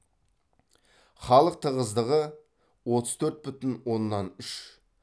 халық тығыздығы отыз төрт бүтін оннан үш